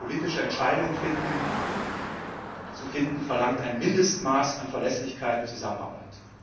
Politische Entscheidungen zu finden, verlangt ein Mindestmaß an Verlässlichkeit und Zusammenarbeit.